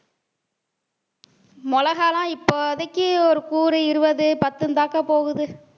மிளகாய் எல்லாம் இப்போதைக்கு ஒரு கூறு இருபது பத்துந்தாக்கா போகுது